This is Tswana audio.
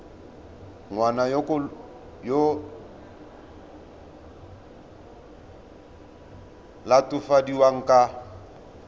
ngwana yo o latofadiwang ka